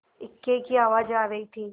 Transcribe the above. इक्के की आवाज आ रही थी